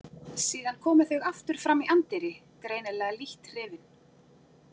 Síðan komu þau aftur fram í anddyri, greinilega lítt hrifin.